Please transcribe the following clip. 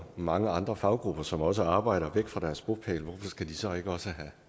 mange andre faggrupper som også arbejder væk fra deres bopæl og skal de så ikke også have